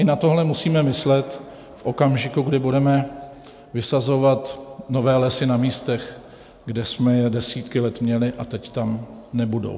I na tohle musíme myslet v okamžiku, kdy budeme vysazovat nové lesy na místech, kde jsme je desítky let měli, a teď tam nebudou.